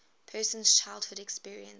person's childhood experiences